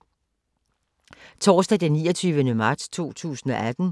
Torsdag d. 29. marts 2018